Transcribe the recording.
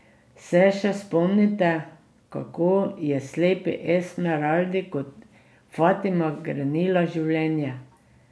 Se še spomnite, kako je slepi Esmeraldi kot Fatima grenila življenje?